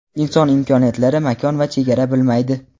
inson imkoniyatlari makon va chegara bilmaydi.